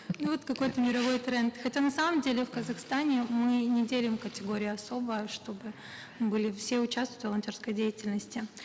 ну вот какой то мировой тренд хотя на самом деле в казахстане мы не делим категории особо чтобы были все участвуют в волонтерской деятельности